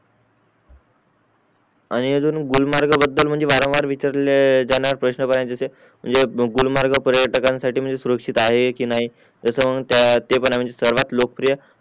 आणि अजून गुलमर्ग बदल म्हणजे वारंवार विचारले जाणारे प्रश्न म्हणजे गुलमर्ग पर्यटाकंसाठी म्हणजे सुरक्षित आहेत कि नाही याच म्हणजे ते पण आहे कि मॅनेज सर्वात लोकप्रिय